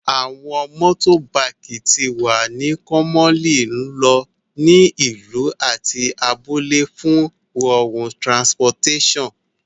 Awọn motorbikes ti wa ni commonly lo ni ilu ati abule fun rorun transportation